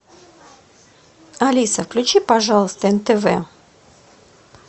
алиса включи пожалуйста нтв